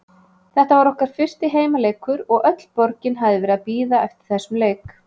Þetta var okkar fyrsti heimaleikur og öll borgin hafði verið að bíða eftir þessum leik.